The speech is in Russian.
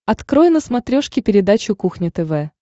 открой на смотрешке передачу кухня тв